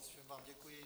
Všem vám děkuji.